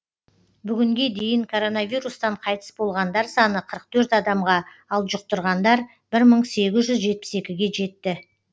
бүгінге дейін коронавирустан қайтыс болғандар саны қырық төрт адамға ал жұқтырғандар бір мың сегіз жүз жетпіс екіге жетті